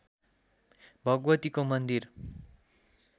भगवतीको मन्दिर